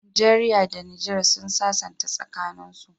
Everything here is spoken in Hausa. Nigeria da niger sun sassanta tsakanin su